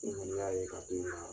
N'i kɔni y'a k'a toyi ka